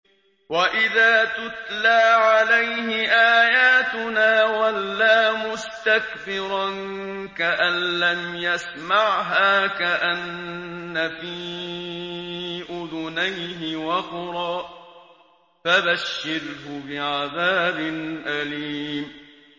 وَإِذَا تُتْلَىٰ عَلَيْهِ آيَاتُنَا وَلَّىٰ مُسْتَكْبِرًا كَأَن لَّمْ يَسْمَعْهَا كَأَنَّ فِي أُذُنَيْهِ وَقْرًا ۖ فَبَشِّرْهُ بِعَذَابٍ أَلِيمٍ